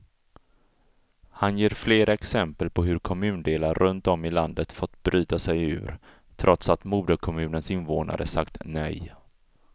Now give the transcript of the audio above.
Han ger flera exempel på hur kommundelar runt om i landet fått bryta sig ur, trots att moderkommunens invånare sagt nej.